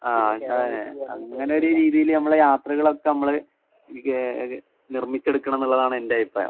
ആഹ് അതന്നെ. അങ്ങനൊര് രീതീല് അമ്മളെ യാത്രകളൊക്കെ അമ്മള് നിർമ്മിച്ചെടുക്കണംന്നുള്ളതാണെന്റെ അഭിപ്രായം.